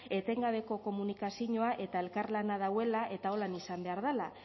etengabeko komunikazinoa eta elkarlana dauela eta holan izan behar dela